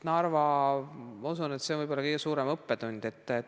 Ma usun, et see on võib-olla kõige suurem õppetund.